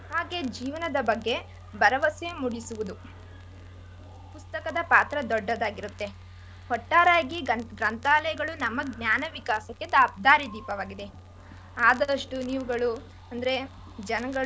ಹಾಗೆ ಜೀವನದ ಬಗ್ಗೆ ಭರವಸೆ ಮೂಡಿಸುವುವು ಪುಸ್ತಕದ ಪಾತ್ರ ದೊಡ್ಡದಾಗಿರುತ್ತೆ. ಒಟ್ಟಾರೆ ಆಗಿ ಗ್ರಂಥ್ ಗ್ರಂಥಾಲಯದ್ ಬಗ್ಗೆ ನಮ್ಮ ಜ್ಞಾನ ವಿಕಾಸಕ್ಕೆ ದಾರಿದೀಪವಾಗಿದೇ ಆದಷ್ಟು ನೀವುಗಳು ಅಂದ್ರೆ ಜನ್ಗಳು.